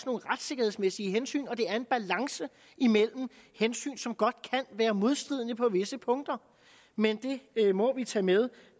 nogle retssikkerhedsmæssige hensyn og at der er en balance imellem hensyn som godt kan være modstridende på visse punkter men det må vi tage med